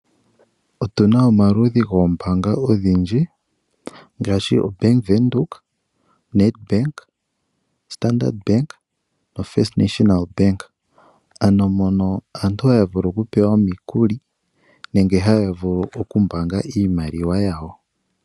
Otuna omaludhi goombaanga ogendji ngaashi oBank Windhoek, Nedbank , Standard Bank, First National Bank , ano mono aantu haya vulu okupewa omukuli nenge haya vulu okumbaanga iimaliwa yawo.